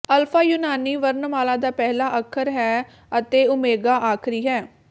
alpha ਯੂਨਾਨੀ ਵਰਣਮਾਲਾ ਦਾ ਪਹਿਲਾ ਅੱਖਰ ਹੈ ਅਤੇ ਓਮੇਗਾ ਆਖਰੀ ਹੈ